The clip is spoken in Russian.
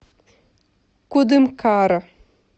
кудымкара